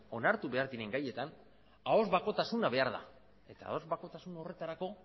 onartu behar diren gaietan ahoz bakotasuna behar da eta ahoz bakotasun horretarako